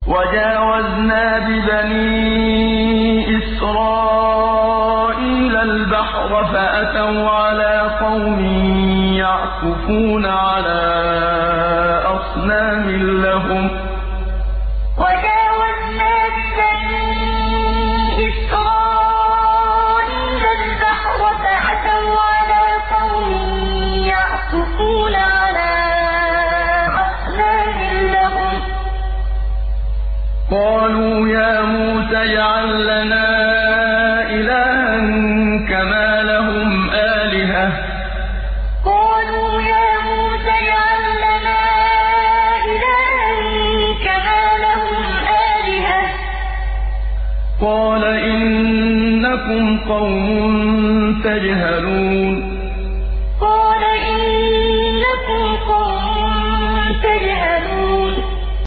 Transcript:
وَجَاوَزْنَا بِبَنِي إِسْرَائِيلَ الْبَحْرَ فَأَتَوْا عَلَىٰ قَوْمٍ يَعْكُفُونَ عَلَىٰ أَصْنَامٍ لَّهُمْ ۚ قَالُوا يَا مُوسَى اجْعَل لَّنَا إِلَٰهًا كَمَا لَهُمْ آلِهَةٌ ۚ قَالَ إِنَّكُمْ قَوْمٌ تَجْهَلُونَ وَجَاوَزْنَا بِبَنِي إِسْرَائِيلَ الْبَحْرَ فَأَتَوْا عَلَىٰ قَوْمٍ يَعْكُفُونَ عَلَىٰ أَصْنَامٍ لَّهُمْ ۚ قَالُوا يَا مُوسَى اجْعَل لَّنَا إِلَٰهًا كَمَا لَهُمْ آلِهَةٌ ۚ قَالَ إِنَّكُمْ قَوْمٌ تَجْهَلُونَ